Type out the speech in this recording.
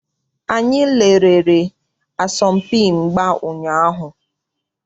Anyị lerere asọmpi mgba ụnyaahụ.